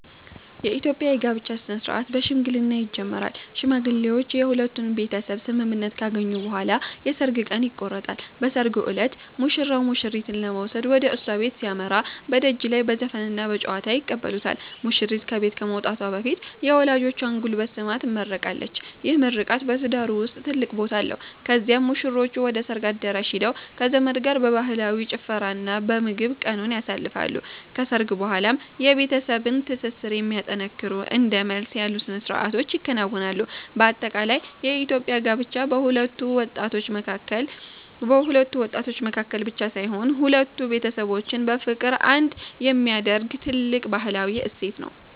የኢትዮጵያ የጋብቻ ሥነ-ሥርዓት በሽምግልና ይጀምራል። ሽማግሌዎች የሁለቱን ቤተሰብ ስምምነት ካገኙ በኋላ የሰርግ ቀን ይቆረጣል። በሰርጉ ዕለት ሙሽራው ሙሽሪትን ለመውሰድ ወደ እሷ ቤት ሲያመራ፣ በደጅ ላይ በዘፈንና በጨዋታ ይቀበሉታል። ሙሽሪት ከቤት ከመውጣቷ በፊት የወላጆቿን ጉልበት ስማ ትመረቃለች፤ ይህ ምርቃት በትዳሩ ውስጥ ትልቅ ቦታ አለው። ከዚያም ሙሽሮቹ ወደ ሰርግ አዳራሽ ሄደው ከዘመድ ጋር በባህላዊ ጭፈራና በምግብ ቀኑን ያሳልፋሉ። ከሰርግ በኋላም የቤተሰብን ትስስር የሚያጠነክሩ እንደ መልስ ያሉ ሥነ-ሥርዓቶች ይከናወናሉ። በአጠቃላይ የኢትዮጵያ ጋብቻ በሁለት ወጣቶች መካከል ብቻ ሳይሆን፣ ሁለት ቤተሰቦችን በፍቅር አንድ የሚያደርግ ትልቅ ባህላዊ እሴት ነው።